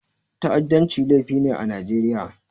Ta'addanci laifi ne a Najeriya.